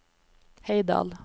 Heidal